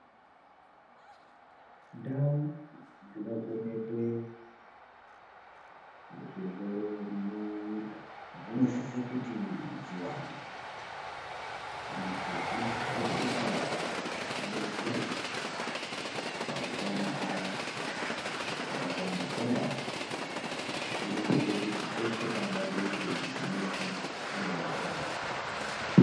Ndau dzinovhenekwe zvirwere munyika dzinosise kuti dziwande antu anosise kuti adetserwe pautano hwawo saka kuwanda kwendau kunoite kuti peshe pangade kuti muntu adetserwe anodetserwa.